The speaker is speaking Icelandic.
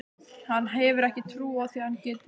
Hann hefur ekki trú á því að hann geti það.